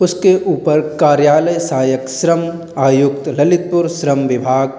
उसके ऊपर कार्यालय सहायक श्रम आयुक्त ललितपुर श्रम विभाग --